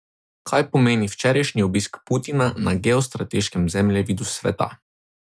Kaj pomeni včerajšnji obisk Putina na geostrateškem zemljevidu sveta?